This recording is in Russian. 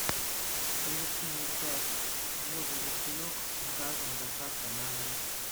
привезти ноль пять воду ручеек заказом с доставкой на дом